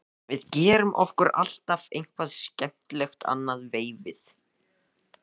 Við gerum okkur alltaf eitthvað til skemmtunar annað veifið.